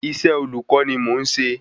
Isẹ́ olùkọ́ ni mò n ṣe